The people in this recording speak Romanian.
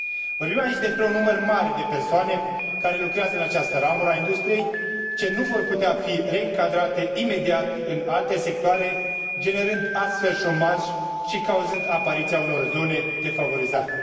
Vorbim aici despre un număr mare de persoane care lucrează în această ramură a industriei, ce nu vor putea fi reîncadrate imediat în alte sectoare, generând astfel șomaj și cauzând apariția unor zone defavorizate.